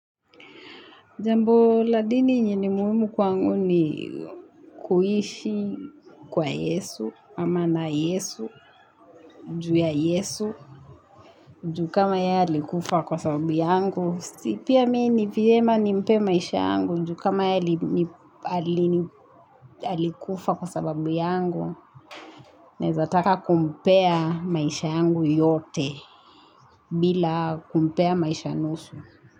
Jambo la dini yenye ni muhimu kwangu ni kuishi kwa Yesu, ama na Yesu, juu ya Yesu, juu kama yeye alikufa kwa sababu yangu. Si pia mimi ni vyema nimpe maisha yangu juu kama yeye alikufa kwa sababu yangu naeza taka kumpea maisha yangu yote bila kumpea maisha nusu.